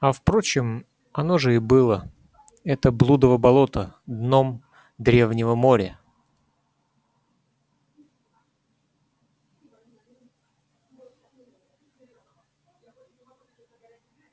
а впрочем оно же и было это блудово болото дном древнего моря